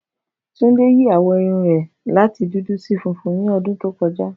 Tunde yí àwọ̀ irun rẹ láti dúdú sí funfun ni ọdún tó kọjá